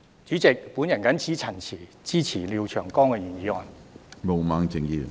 主席，我謹此陳辭，支持廖長江議員的議案。